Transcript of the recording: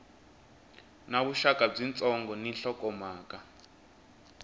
na vuxaka byitsongo ni nhlokomhaka